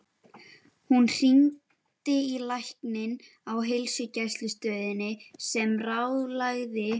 Hún hringdi í lækni á heilsugæslustöðinni sem ráðlagði